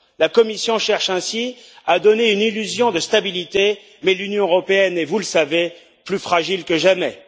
La Commission cherche ainsi à donner une illusion de stabilité, mais l'Union européenne est vous le savez plus fragile que jamais.